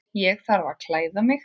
Ég þarf að klæða mig.